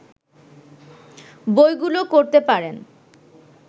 বইগুলো করতে পারেন